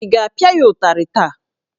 Ị ga-apịa ya ụtarị taa?